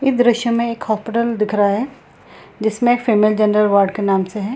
इस दृश्य में एक हॉस्पिटल दिख रहा है जिसमें फीमेल जनरल वार्ड के नाम से है।